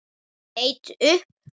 Leit upp.